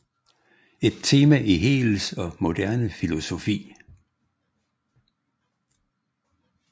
Et tema i Hegels og moderne filosofi